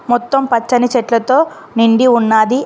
మొత్తం పచ్చని చెట్లతో నిండి ఉన్నాది.